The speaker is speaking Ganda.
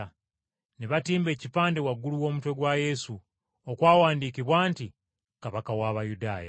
Ne batimba ekipande waggulu w’omutwe gwa Yesu, okwawandiikibwa nti, “Kabaka w’Abayudaaya.”